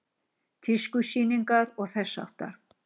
Tískusýningar og þess háttar?